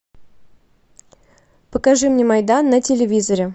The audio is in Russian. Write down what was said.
покажи мне майдан на телевизоре